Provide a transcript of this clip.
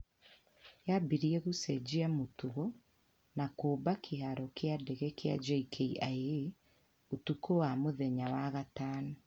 yabirie gũcenjia mũtugo na kũmba kĩharo kĩa ndege kia JKIA ũtukũ wa mũthenya wa gatano